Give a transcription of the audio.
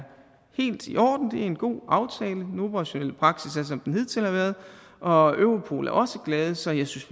helt i orden og er en god aftale den operationelle praksis er som den hidtil har været og europol er også glade så jeg synes